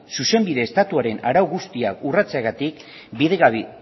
zuzenbide estatuaren arau guztiak urratzeagatik bidegabe